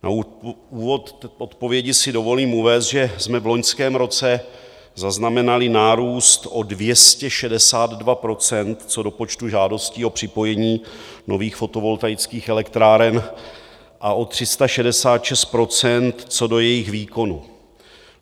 Na úvod odpovědi si dovolím uvést, že jsme v loňském roce zaznamenali nárůst o 262 % co do počtu žádostí o připojení nových fotovoltaických elektráren a o 366 % co do jejich výkonu.